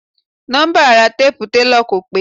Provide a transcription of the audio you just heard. Nọ́mbà ara téèpu telọ̀ kò pé.